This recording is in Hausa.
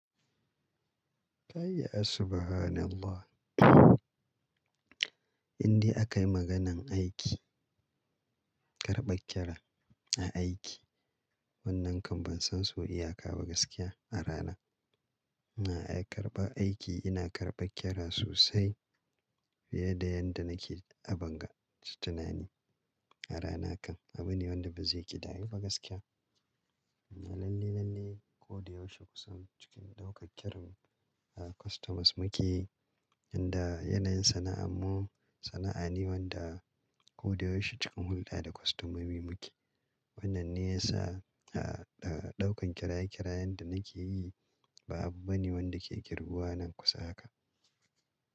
Kayi ya subhanallah. Inde aka yi maganan aiki, karɓar kira a aiki, wannan kam ban san sau iya ka ba gaskiya a rana. Ina karɓa aiki, ina karɓa kira sosai fiye da yadda nake a ban ga tunani a rana kan. Abu ne wanda bazai ƙidayu ba gaskiya. Lalle lalle ko da yaushe kusan cikin ɗaukar kiran customers muke, inda yanayin sana'ar mu sana'a ne wanda ko da yaushe cikin hulɗa da kostomomi muke. Wannan ne yasa a ɗaukan kiraye kirayen da nake yi ba abu bane wanda ke girbuwa nan kusa haka.